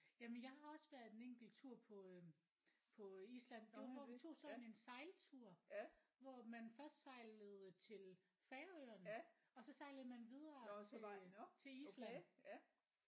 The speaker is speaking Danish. Jamen jeg har også været en enkelt tur på øh på øh Island det var hvor vi tog sådan en sejltur hvor man først sejlede til Færøerne og så sejlede man videre til til Island